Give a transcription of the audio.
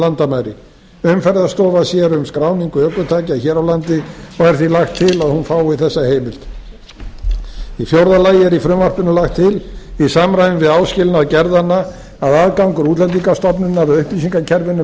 landamæri umferðarstofa sér um skráningu ökutækja hér á landi og er því lagt til að hún fái þessa heimild í fjórða lagi er í frumvarpinu lagt til í samræmi við áskilnað gerðanna að aðgangur útlendingastofnunar að upplýsingakerfinu